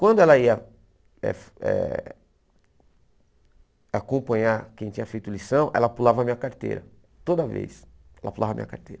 Quando ela ia eh eh acompanhar quem tinha feito lição, ela pulava a minha carteira, toda vez, ela pulava a minha carteira.